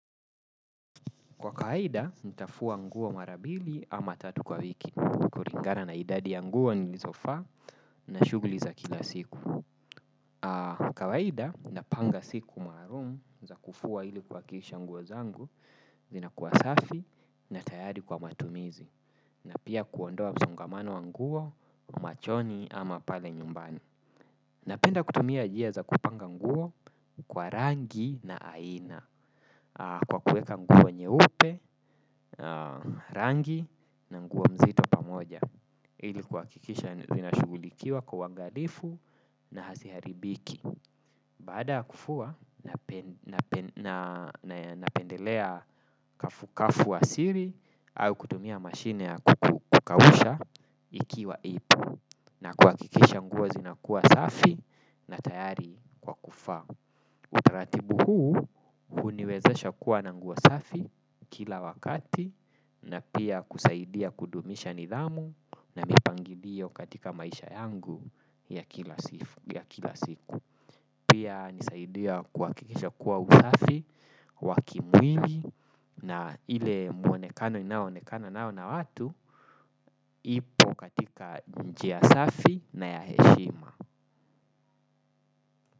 Kwa kawaida, nitafua nguo mara bili ama tatu kwa wiki. Kulingana na idadi ya nguo nilizovaa na shughuli za kila siku. Kawaida, napanga siku maalum za kufua ili kuhakikisha nguo zangu, zinakuwa safi na tayari kwa matumizi. Na pia kuondoa msongamano wa nguo, machoni ama pale nyumbani. Napenda kutumia njia za kupanga nguo kwa rangi na aina. Kwa kuweka nguo nyeupe, rangi na nguo nzito pamoja ili kuhakikisha zinashugulikiwa kwa uwangalifu na haziharibiki. Baada kufua napendelea kafu-kafu asili au kutumia mashine ya kukausha ikiwa ipo. Na kuhakikisha nguo zinakuwa safi na tayari kwa kuvaa. Utaratibu huu huniweza kuwa na nguo safi kila wakati na pia kusaidia kudumisha nidhamu na mipangilio katika maisha yangu ya kila siku. Pia hunisaidia kuhakikisha kuwa usafi wa kimwili na ile muonekano ninayoonekano nao na watu ipo katika njia safi na ya heshima.